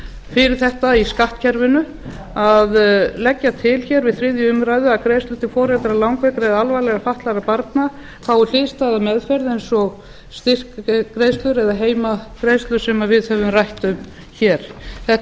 fyrir þetta í skattkerfinu að leggja til hér við þriðju umræðu að greiðslur til foreldra langveikra eða alvarlega fatlaðra barna fái hliðstæða meðferð eins og styrkgreiðslur eða heimgreiðslur sem við höfum rætt um hér þetta